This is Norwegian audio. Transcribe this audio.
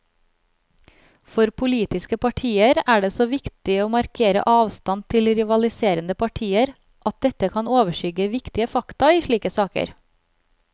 For politiske partier er det så viktig å markere avstand til rivaliserende partier at dette kan overskygge viktige fakta i slike saker.